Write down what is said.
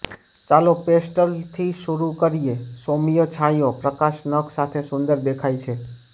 ચાલો પેસ્ટલ્સથી શરૂ કરીએ સૌમ્ય છાંયો પ્રકાશ નખ સાથે સુંદર દેખાય છે